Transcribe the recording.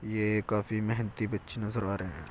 ये काफी मेहनती बच्चे नजर आ रहे हैं।